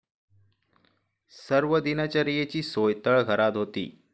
सर्व दिनचर्येची सोय तळघरात होती.